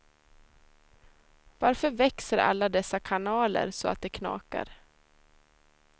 Varför växer alla dessa kanaler så att de knakar.